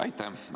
Aitäh!